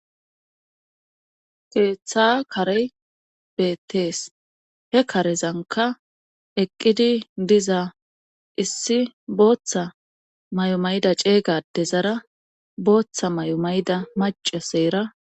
Keeththa kare beettees he karezanka eqqidi diza issi booththa may7o mayida ceeygade zara booththa may7o mayida maca seera.